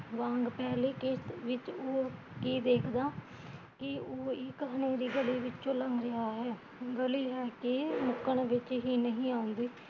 ਵਾਂਗ ਪਹਿਲੀ ਕਿਸ਼ਤ ਵਿਚ ਉਹ ਕੀ ਦੇਖਦਾ, ਕੀ ਉਹ ਇੱਕ ਹਨੇਰੀ ਗਲੀ ਵਿੱਚੋਂ ਲੰਘ ਰਿਹਾ ਹੈ, ਗਲੀ ਹੈ ਕਿ ਮੁੱਕਣ ਵਿੱਚ ਹੀਂ ਨਹੀਂ ਆਉਂਦੀ